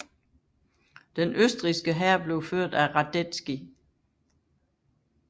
Den østrigske hær blev ført af Radetzky